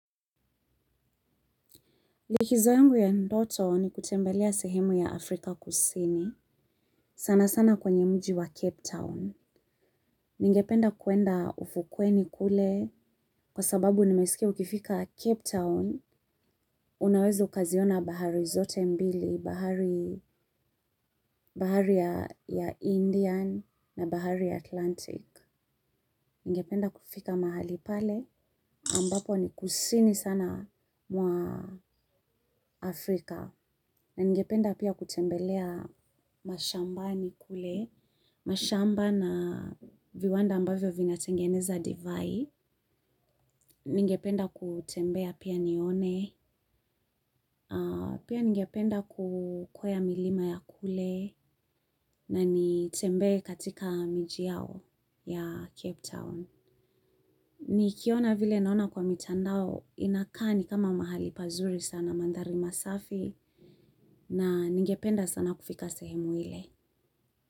Likizo yangu ya ndoto ni kutembelea sehemu ya Afrika kusini. Sana sana kwenye mji wa Cape Town. Ningependa kwenda ufukweni kule kwa sababu nimesikia ukifika Cape Town. Unaweza ukaziona bahari zote mbili, bahari ya Indian na bahari Atlantic. Ningependa kufika mahali pale ambapo ni kusini sana mwa Afrika. Na ningependa pia kutembelea mashambani kule, mashamba na viwanda ambavyo vinatengeneza divai. Ningependa kutembea pia nione, pia ningependa kukweya milima ya kule nanitembee katika miji yao ya Cape Town. Nikiona vile naona kwa mitandao inakaa ni kama mahali pazuri sana mandhari masafi na ningependa sana kufika sehemu ile.